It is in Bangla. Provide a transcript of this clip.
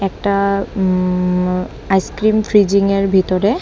একটা উম আঃ আইসক্রিম ফ্রিজিংয়ের ভিতরে।